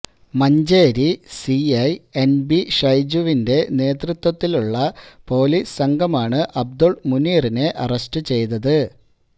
Manjeri C I N B ഷൈജുവിന്റെ നേതൃത്വത്തിലുള്ള police സംഘമാണ് അബ്ദുൾ മുനീറിനെ അറസ്റ്റ് ചെയ്തത്